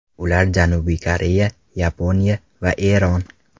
Ular Janubiy Koreya, Yaponiya va Eron.